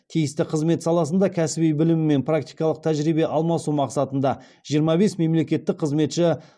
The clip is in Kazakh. тиісті қызмет саласында кәсіби білім мен практикалық тәжірибе алмасу мақсатында жиырма бес мемлекеттік қызметші